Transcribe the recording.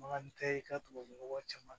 Bagan tɛ ye i ka tubabunɔgɔ caman